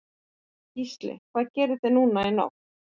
Gísli: Hvað gerið þið núna í nótt?